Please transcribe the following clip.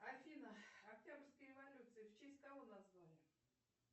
афина октябрьская революция в честь кого назвали